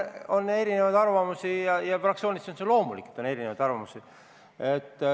On erinevaid arvamusi ja fraktsioonis on see loomulik, et on erinevaid arvamusi.